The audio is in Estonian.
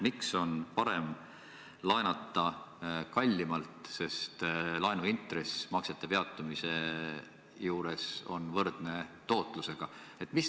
Miks on parem laenata kallimalt, sest laenuintress maksete peatumise juures on võrdne tootlusega?